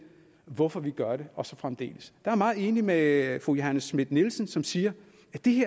hvorfor vi gør det og så fremdeles er jeg meget enig med fru johanne schmidt nielsen som siger